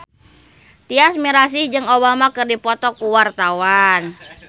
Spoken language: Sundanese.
Tyas Mirasih jeung Obama keur dipoto ku wartawan